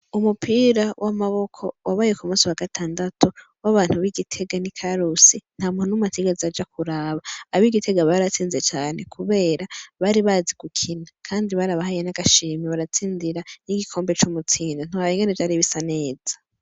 Umupira w'amaboko wabaye k'umusi wa gatandatu w'abantu b'igitega n'ikarusi nta muntu n'umwe atigeze aja kuraba. Ab'igitega baratsinze cane kubera bari bazi gukina kandi bari barabahaye n'agashimwe baratsindira n'igikombe c'umutsindo ntiworaba ingene vyari bisa neza.